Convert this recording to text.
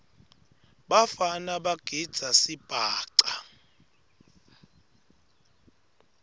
bafana bagidza sibhaca